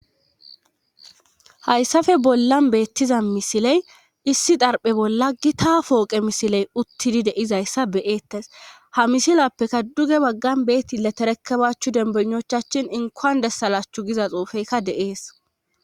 hayssafe bollan beettiza misiley issi xarphe bolla gita fooqe misiley uttidi de'izayssa beettes ha misilappeka duge baggan beetti leterekabaachchu dembunochachin inkoan dessalashchu giza xoufeykka de'ees